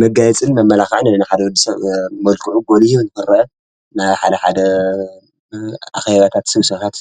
መጋየጽን መማላኻዕን ንሓደ ወዲ ሰብ መልክዑ ጐሊሁ ንክረአ ናይ ሓደ ሓደ ኣኬባታት ስብሰባታት